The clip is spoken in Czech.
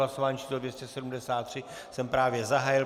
Hlasování číslo 273 jsem právě zahájil.